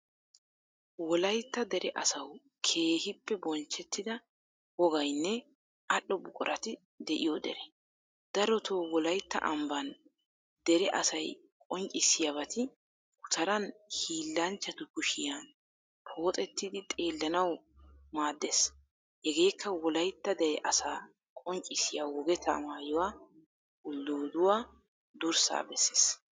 Wolaytta dere asawu keehippe bonchchettida wogaynne al"o buquratti deiyo dere. Daroto wolaytta ambban dere asaay qonccissiyabati guttaran hilanchchattu kushiyan poxettidi xeelanawu maadees. Heegekka wolaytta dere asaa qonccissiyaa wogeta maayuwaa ulduduwaa durssa bessees.